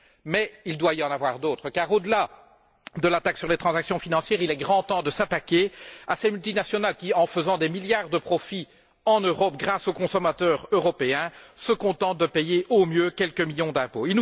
Mais il doit y en avoir d'autres car, au delà de la taxe sur les transactions financières, il est grand temps de s'attaquer à ces multinationales qui, en faisant des milliards de profit, en Europe, grâce aux consommateurs européens, se contentent de payer au mieux quelques millions d'impôts.